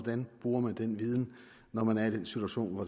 man bruger den viden når man er i den situation hvor